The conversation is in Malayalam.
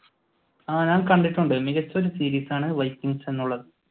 ആ ഞാൻ കണ്ടിട്ടുണ്ട് മികച്ച ഒരു സീരീസാണ് വൈകിങ്‌സ്‌ എന്നുള്ളത്.